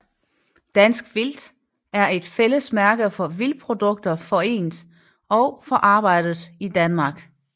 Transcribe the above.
Dansk vildt er et fællesmærke for vildtprodukter forendt og forarbejdet i Danmark